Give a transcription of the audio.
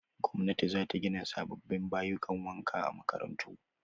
Gwamnati za ta gina sababbin bayukan wanka a makarantu